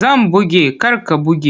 Zan buge kar ka buge!